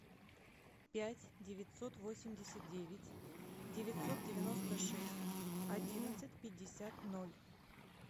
пять девятьсот восемьдесят девять девятьсот девяносто шесть одиннадцать пятьдесят ноль